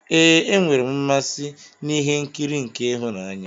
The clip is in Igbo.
Ee, enwere m mmasị n'ihe nkiri nke ịhụnanya.